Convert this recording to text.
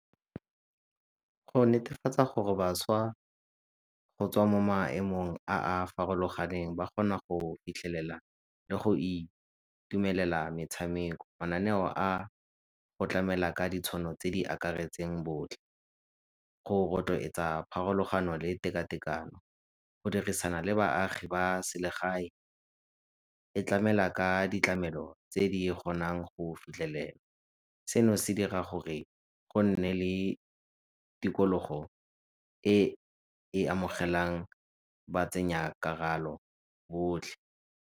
Go netefatsa gore bašwa go tswa mo maemong a a farologaneng ba kgona go fitlhelela le go itumelela metshameko. Mananeo a go tlamela ka ditshono tse di akaretseng botlhe. pharologano le tekatekano, go dirisisana le baagi ba selegae, e tlamela ka tlamelo tse di kgonang go fitlhelela. Seno se dira gore go nne le tikologo e e amogelang botlhe.